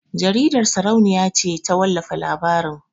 Jaridar sarauniya ce ta wallafa labarin